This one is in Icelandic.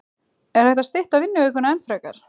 Er hægt að stytta vinnuvikuna enn frekar?